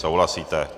Souhlasíte.